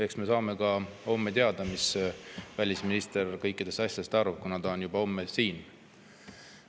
Eks me saame homme teada, mis välisminister kõikidest asjadest arvab, kuna ta on juba homme siin.